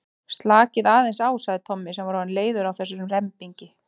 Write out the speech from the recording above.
Slakið aðeins á sagði Tommi sem var orðinn leiður á þessum rembingi.